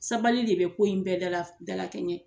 Sabali de bɛ ko in bɛɛ dala dala kɛɲɛ.